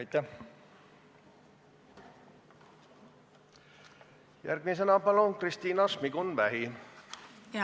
Järgmisena Kristina Šmigun-Vähi, palun!